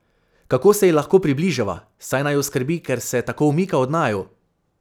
Kako se ji lahko približava, saj naju skrbi, ker se tako umika od naju?